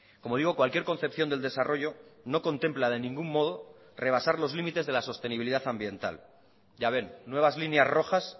como digo cualquier concepción del desarrollo no contempla de ningún modo rebasar los limites de la sostenibilidad ambiental ya ven nuevas líneas rojas